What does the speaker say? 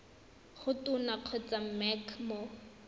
go tona kgotsa mec mo